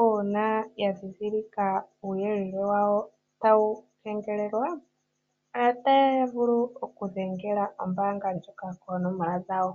Uuna ya ndhindhilika uuyelele wawo tawu kengelelwa, otaya vulu oku dhengela ombaanga ndjoka koonomola dhawo.